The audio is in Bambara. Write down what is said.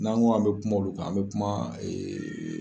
N'an ko an bɛ kuma olu kan an bɛ kuma